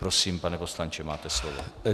Prosím, pane poslanče, máte slovo.